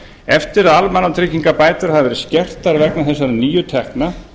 eftir að almannatryggingabætur hafa verið skertar vegna þessara nýju tekna